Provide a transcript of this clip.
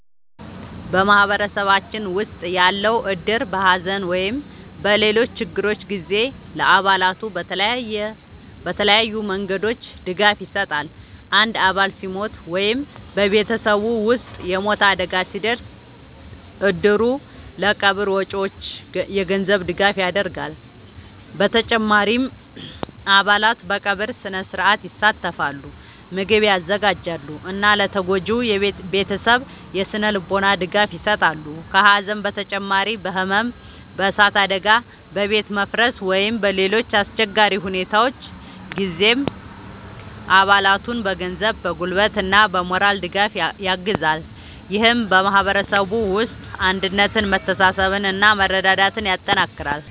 በማህበረሰባችን ውስጥ ያለው እድር በሐዘን ወይም በሌሎች ችግሮች ጊዜ ለአባላቱ በተለያዩ መንገዶች ድጋፍ ይሰጣል። አንድ አባል ሲሞት ወይም በቤተሰቡ ውስጥ የሞት አደጋ ሲደርስ፣ እድሩ ለቀብር ወጪዎች የገንዘብ ድጋፍ ያደርጋል። በተጨማሪም አባላት በቀብር ሥነ-ሥርዓት ይሳተፋሉ፣ ምግብ ያዘጋጃሉ እና ለተጎጂው ቤተሰብ የሥነ-ልቦና ድጋፍ ይሰጣሉ። ከሐዘን በተጨማሪ በሕመም፣ በእሳት አደጋ፣ በቤት መፍረስ ወይም በሌሎች አስቸጋሪ ሁኔታዎች ጊዜም አባላቱን በገንዘብ፣ በጉልበት እና በሞራል ድጋፍ ያግዛል። ይህም በማህበረሰቡ ውስጥ አንድነትን፣ መተሳሰብን እና መረዳዳትን ያጠናክራል።